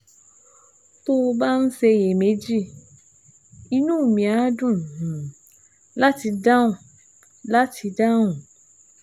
Tó o bá ń ṣiyèméjì, inú mi á dùn um láti dáhùn láti dáhùn